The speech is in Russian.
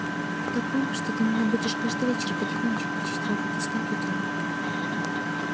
в таком что ты меня будешь каждый вечер потихонечку учить работе с компьютером